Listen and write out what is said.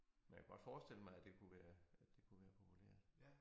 Men jeg kunne godt forestille mig at det kunne være at det kunne være populært